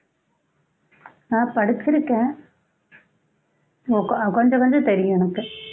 ஆஹ் படிச்சிருக்கேன் கொஞ்ச கொஞ்சம் தெரியும் எனக்கு